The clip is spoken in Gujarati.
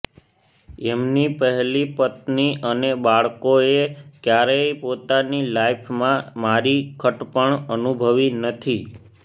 એમની પહેલી પત્ની અને બાળકોએ ક્યારેય પોતાની લાઇફમાં મારી ખટપણ અનુભવી નથી